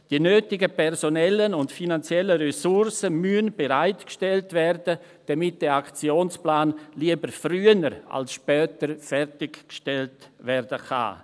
Die nötigen personellen und finanziellen Ressourcen müssen bereitgestellt werden, damit dieser Aktionsplan, lieber früher als später, fertiggestellt werden kann.